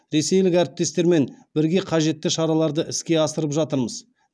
ресейлік әріптестермен бірге қажетті шараларды іске асырып жатырмыз